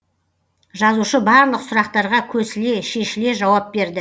жазушы барлық сұрақтарға көсіле шешіле жауап берді